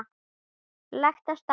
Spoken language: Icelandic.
Lagt af stað